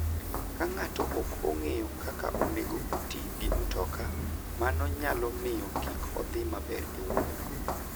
Ka ng'ato ok ong'eyo kaka onego oti gi mtoka, mano nyalo miyo kik odhi maber e wuodhno.